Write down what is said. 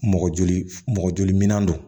Mɔgɔ joli mɔgɔ jolian don